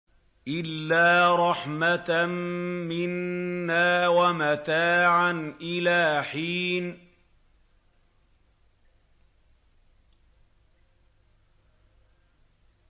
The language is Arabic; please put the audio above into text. إِلَّا رَحْمَةً مِّنَّا وَمَتَاعًا إِلَىٰ حِينٍ